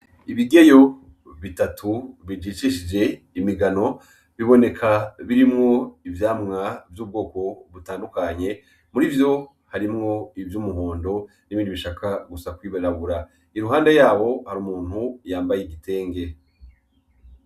Ibigeyo bitatu bijishishije imigano, biboneka birimwo ivyamwa vy'ubwoko butandukanye. Muri ivyo harimwo ivy'umuhondo n'ibindi bishaka gusa kwimenagura, iruhande yaho hari umuntu yambaye igitenge.